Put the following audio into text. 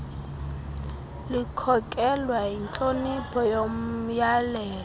likhokelwa yintlonipho yomyalelo